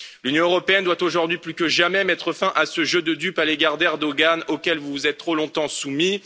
L'Union européenne doit aujourd'hui plus que jamais mettre fin à ce jeu de dupes à l'égard d'Erdogan, auquel vous vous êtes trop longtemps soumis.